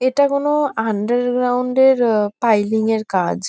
এটা কোনো আন্ডারগ্রাউন্ড -এর আ পাইলিং -এর কাজ।